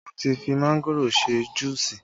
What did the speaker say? Wọn ti fi mángòrò ṣe juusi